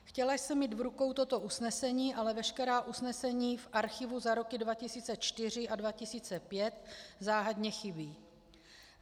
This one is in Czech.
Chtěla jsem mít v rukou toto usnesení, ale veškerá usnesení v archivu za roky 2004 a 2005 záhadně chybí.